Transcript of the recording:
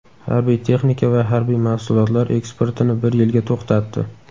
harbiy texnika va harbiy mahsulotlar eksportini bir yilga to‘xtatdi.